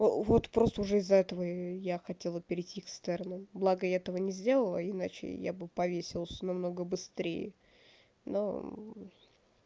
вот просто уже из-за этого я хотела перейти экстерном благо я этого не сделала иначе я бы повесилась намного быстрее но